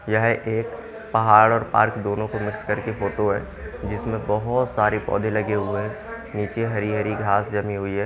यह एक पहाड़ और पार्क दोनों को मिक्स करके फोटो है जिसमें बहुत सारे पौधे लगे हुए हैं नीचे हरी हरी घास जमी हुई है।